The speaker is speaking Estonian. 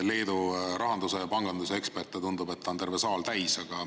Leedu rahanduse ja panganduse eksperte, tundub, on terve saal täis.